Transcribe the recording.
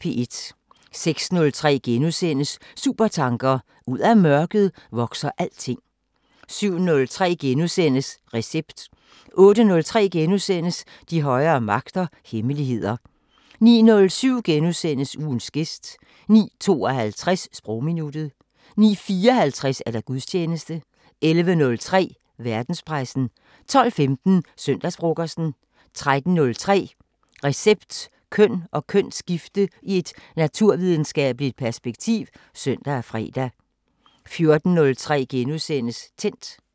06:03: Supertanker: Ud af mørket vokser alting * 07:03: Recept * 08:03: De højere magter: Hemmeligheder * 09:07: Ugens gæst * 09:52: Sprogminuttet 09:54: Gudstjeneste 11:03: Verdenspressen 12:15: Søndagsfrokosten 13:03: Recept: Køn og kønsskifte i et naturvidenskabeligt perspektiv (søn og fre) 14:03: Tændt *